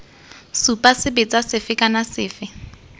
supa sebetsa sefe kana sefe